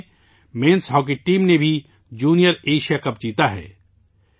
اسی مہینے میں ہماری مردوں کی ہاکی ٹیم نے بھی جونیئر ایشیا کپ جیتا ہے